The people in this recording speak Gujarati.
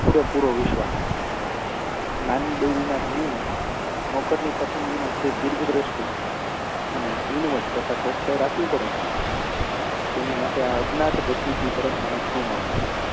પૂરેપૂરો વિશ્વાસ નાની બૈરીના ધણીને નોકરની પસંદગીમાં જે દીર્ધદૃષ્ટિ અને ઝીણવટ રાખવી પડે છે તેને માટે આ અજ્ઞાાત ડેપ્યુટી તરફ મને ઘણું માન થયું